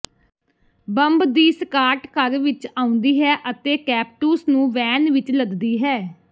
bomb ਦੀ squad ਘਰ ਵਿਚ ਆਉਂਦੀ ਹੈ ਅਤੇ ਕੈਪਟੂਸ ਨੂੰ ਵੈਨ ਵਿਚ ਲੱਦਦੀ ਹੈ